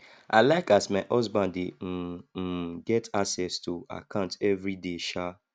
i like as my husband dey um um get access to account everyday um